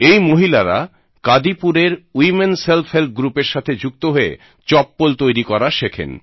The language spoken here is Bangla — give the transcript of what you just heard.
এই মহিলারা কাদিপুর এর উইমেন সেলফ হেল্প গ্রূপ এর সাথে যুক্ত হয়ে চপ্পল তৈরী করা শেখেন